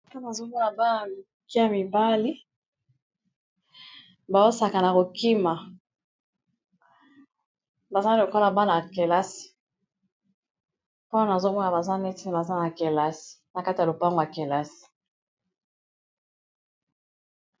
azomona bana ya mike ya mibali bawosaka na kokima bazali lokola bana ya kelasi mpona azomoya baza neti baza na kelasi na kati ya lopango ya kelasi